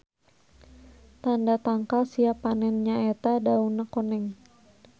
Tanda tangkal siap panen nya eta dauna koneng.